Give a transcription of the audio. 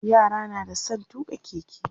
yara na da San tuƙa keke